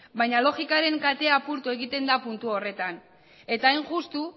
baina logikaren katea apurtu egiten da puntu horretan eta hain justu